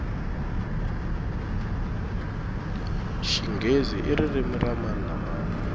xinghezi iririmi ra mani na mani